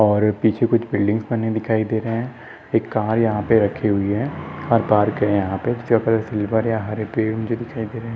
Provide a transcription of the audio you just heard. और पीछे कुछ बिल्डिंग्स बने दिखाई दे रहे है एक कार यहाँ पे रखी हुई है और पार्क है यहाँ पे हरे पेड़ मुझे दिखाई दे रहे है।